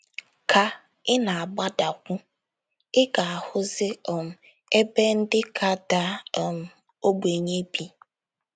Ka ị na - agbadakwu, ị ga - ahụzi um ebe ndị ka daa um ogbenye bi.